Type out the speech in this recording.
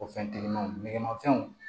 O fɛn telimanw nɛgɛmanfɛnw